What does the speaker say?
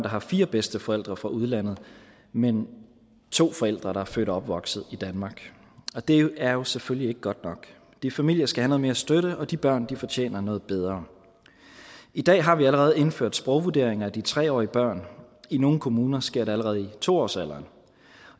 har fire bedsteforældre fra udlandet men to forældre der er født og opvokset i danmark og det er jo selvfølgelig ikke godt nok de familier skal have noget mere støtte og de børn fortjener noget bedre i dag har vi allerede indført sprogvurderinger af de tre årige børn i nogle kommuner sker det allerede i to årsalderen